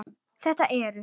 Þetta eru